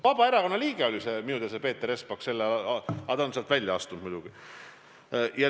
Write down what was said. Minu teada oli Peeter Espak Vabaerakonna liige, aga ta on sealt välja astunud muidugi.